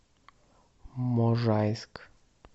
можайск